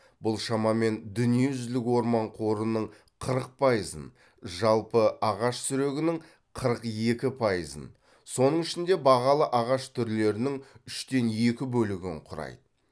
бұл шамамен дүниежүзілік орман қорының қырық пайызын жалпы ағаш сүрегінің қырық екі пайызын соның ішінде бағалы ағаш түрлерінің үштен екі бөлігін құрайды